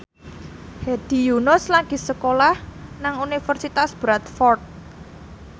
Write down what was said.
Hedi Yunus lagi sekolah nang Universitas Bradford